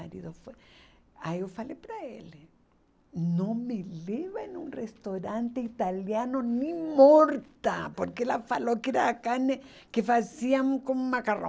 Ai ele não foi Aí eu falei para ele, não me leva em um restaurante italiano nem morta, porque ela falou que era a carne que faziam com macarrão.